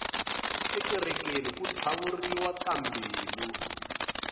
ekerekeni ku tlhavuriwa tambilu